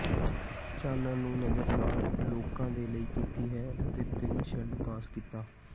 ਚਾਨਣ ਨੂੰ ਨਜ਼ਰ ਨਾਲ ਲੋਕ ਦੇ ਲਈ ਕੀਤੀ ਹੈ ਅਤੇ ਤਿੰਨ ਸ਼ੇਡ ਪੇਸ਼ ਕੀਤਾ